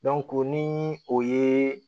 ni o ye